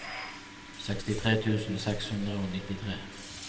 sekstitre tusen seks hundre og nittitre